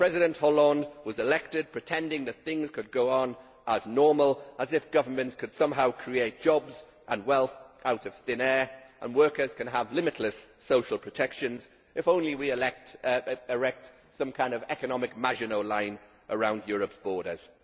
President Hollande was elected pretending that things could go on as normal, as if governments could somehow create jobs and wealth out of thin air, and workers can have limitless social protection if only we could erect some kind of economic Maginot line around Europe's borders!